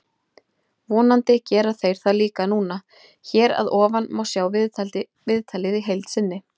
Vonandi gera þeir það líka núna. Hér að ofan má sjá viðtalið í heild sinni.